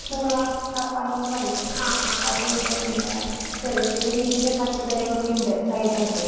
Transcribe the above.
പൂള കപ്പന്നൊക്കെ പറയും അതൊണ്ട് പിന്നെ ചെറിയ ചെറിയ രീതീല് പച്ചക്കറികളൊക്കെയുണ്ട് സൈഡായിട്ട്